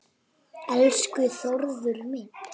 Elsku Þórður minn.